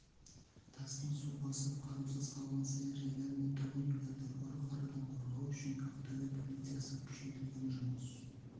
тасқын су басып қараусыз қалған саяжайлар мен тұрғын үйлерді ұры-қарыдан қорғау үшін ақтөбе полициясы күшейтілген жұмыс